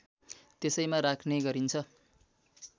त्यसैमा राख्ने गरिन्छ